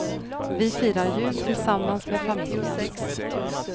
Vi firar jul tillsammans med familjen.